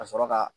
Ka sɔrɔ ka